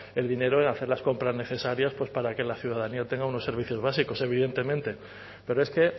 el dinero en hacer las compras necesarias pues para que la ciudadanía tenga unos servicios básicos evidentemente pero es que